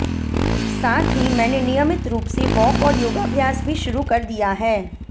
साथ ही मैंने नियमित रूप से वॉक और योगाभ्यास भी शुरू कर दिया है